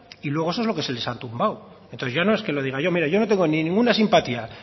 y luego eso fue lo que les han tumbado entonces no es que lo diga yo mire yo no tengo ni ninguna simpatía